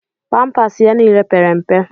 Pampas ya niile pere mpe.